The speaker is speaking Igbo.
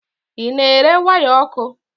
Ị na-ere waya ọkụ?